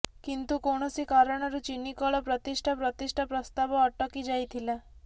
କିନ୍ତୁ କୌଣସି କାରଣରୁ ଚିନିକଳ ପ୍ରତିଷ୍ଠା ପ୍ରତିଷ୍ଠା ପ୍ରସ୍ତାବ ଅଟକି ଯାଇଥିଲା